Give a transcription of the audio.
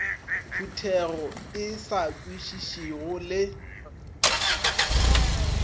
phuthego e sa kwešišego le